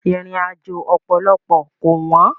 Ìrìnàjò ọ̀pọ̀lọpọ̀ kò wọ́n.